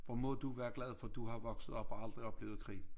Hvor må du være glad for du har vokset op og aldrig oplevet krig